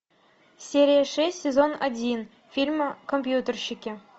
серия шесть сезон один фильма компьютерщики